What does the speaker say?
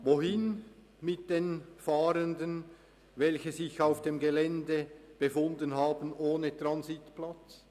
Wohin mit den Fahrenden, welche sich auf dem Gelände befunden haben – ohne einen Transitplatz?